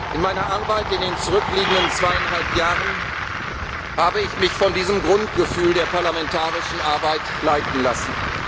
In meiner Arbeit in den zurückliegenden zweieinhalb Jahren habe ich mich von diesem Grundgefühl der parlamentarischen Arbeit leiten